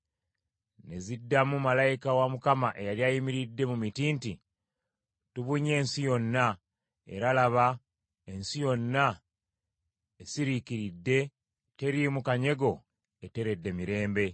Ne ziddamu malayika wa Mukama eyali ayimiridde mu miti nti, “Tubunye ensi yonna, era laba ensi yonna esiriikiridde teriimu kanyego eteredde mirembe.”